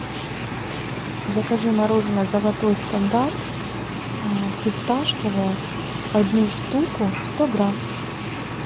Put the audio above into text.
закажи мороженое золотой стандарт фисташковое одну штуку сто грамм